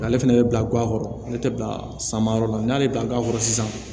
Ale fɛnɛ bɛ bila ga kɔrɔ ale tɛ bila samayɔrɔ la n'a bɛ bila ga kɔrɔ sisan